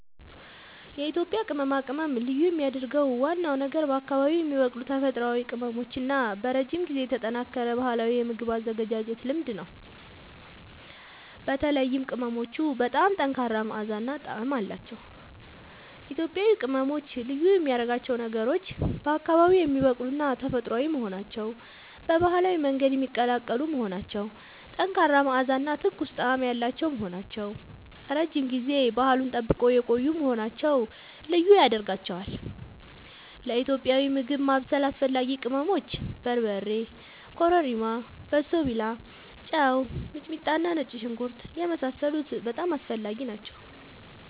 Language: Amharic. የኢትዮጵያ ቅመማ ቅመም ልዩ የሚያደርገው ዋናው ነገር በአካባቢዉ የሚበቅሉ ተፈጥሯዊ ቅመሞች እና በረጅም ጊዜ የተጠናከረ ባህላዊ የምግብ አዘገጃጀት ልምድ ነው። በተለይም ቅመሞቹ በጣም ጠንካራ መዓዛ እና ጣዕም አላቸዉ። ኢትዮጵያዊ ቅመሞች ልዩ የሚያደርጋቸው ነገሮች፦ በአካባቢዉ የሚበቅሉና ተፈጥሯዊ መሆናቸዉ፣ በባህላዊ መንገድ የሚቀላቀሉ መሆናቸዉ፣ ጠንካራ መዓዛ እና ትኩስ ጣዕም ያላቸዉ መሆናቸዉ፣ ረዥም ጊዜ ባህሉን ጠብቀዉ የቆዪ መሆናቸዉ ልዪ ያደርጋቸዋል። ለኢትዮጵያዊ ምግብ ማብሰል አስፈላጊ ቅመሞች፦ በርበሬ፣ ኮረሪማ፣ በሶብላ፣ ጨዉ፣ ሚጥሚጣና ነጭ ሽንኩርት የመሳሰሉት በጣም አስፈላጊ ናቸዉ